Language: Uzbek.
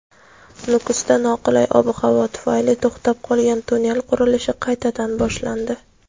Nukusda noqulay ob-havo tufayli to‘xtab qolgan tunnel qurilishi qaytadan boshlandi.